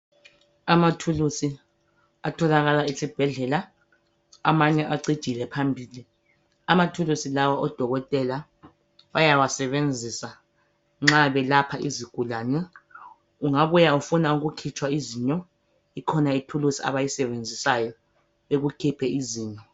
Amathulusi atholakala esibhedlela, amanye acijile phambili. Amathulusi lawa odokotela bayawasebenzisa ,nxa belapha izigulane. Ungabuya ufuna ukukhitshwa izinyo ikhona ithulusi abayisebenzisayo ,bekukhiphe izinyo.